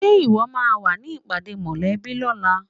Ṣe ìwọ máa wá sí ìpàdé mòlẹ́bí lóla?